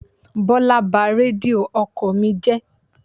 Bọ́lá ba Rédíò ọkọ̀ mi.